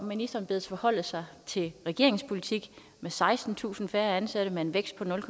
ministeren bedes forholde sig til regeringens politik med sekstentusind færre ansatte og med en vækst på nul